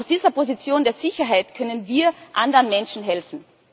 Aus dieser Position der Sicherheit können wir anderen Menschen helfen.